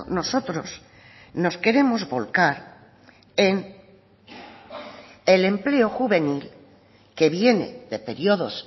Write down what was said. nosotros nos queremos volcar en el empleo juvenil que viene de periodos